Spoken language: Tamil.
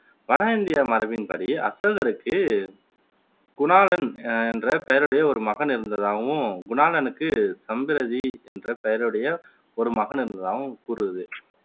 வட இந்திய மரபின் படி, அசோகருக்கு குணாளன் என்ற பெயருடைய ஒரு மகன் இருந்ததாகவும் குணாளனுக்கு சம்பிரதி என்ற பெயருடைய ஒரு மகன் இருந்ததாகவும் கூறுது